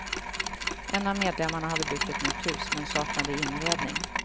En av medlemmarna hade byggt ett nytt hus, men saknade inredning.